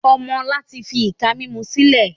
Ọmọ ọ̀la tí fi ìka mímú sílẹ̀